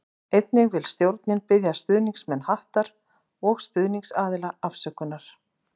Einnig vil stjórnin biðja stuðningsmenn Hattar og stuðningsaðila afsökunar.